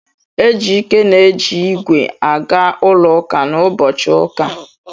Ejike na-eji ígwè aga ụlọ ụka n'ụbọchị ụka.